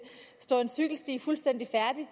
stå en cykelsti fuldstændig færdig